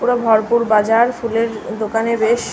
পুরো ভরপুর বাজার ফুলের দোকানের রেশ।